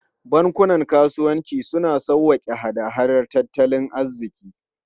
Bankunan kasuwanci suna sauƙaƙe hada-hadar tattalin arziki.